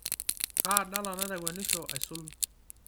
kaa dala naitakwenisho aisul